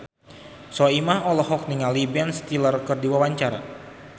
Soimah olohok ningali Ben Stiller keur diwawancara